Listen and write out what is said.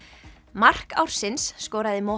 mark ársins skoraði